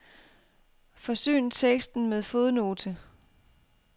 Forsyn teksten med fodnote.